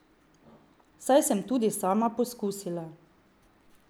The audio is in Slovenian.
Saj sem tudi sama poskusila.